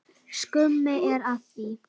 Skömm er að því.